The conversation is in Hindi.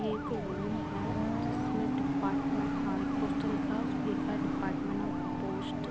एक रूम है जिसमे डिपार्ट में हाई पोस्ट लिखा है उसपे लिखा है डिपार्टमेंट ऑफ पोस्ट ।